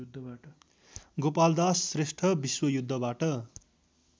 Gopaldas Shrestha विश्वयुद्धबाट